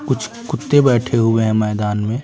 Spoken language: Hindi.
कुछ कुत्ते बैठे हुए हैंमैदान में।